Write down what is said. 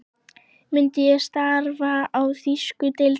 Myndi ég starfa í þýsku deildinni?